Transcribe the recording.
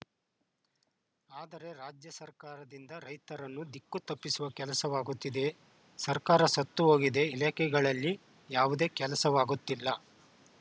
ಆದರೆ ರಾಜ್ಯ ಸರ್ಕಾರದಿಂದ ರೈತರನ್ನು ದಿಕ್ಕು ತಪ್ಪಿಸುವ ಕೆಲಸವಾಗುತ್ತಿದೆ ಸರ್ಕಾರ ಸತ್ತುಹೋಗಿದೆ ಇಲಾಖೆಗಳಲ್ಲಿ ಯಾವುದೇ ಕೆಲಸವಾಗುತ್ತಿಲ್ಲ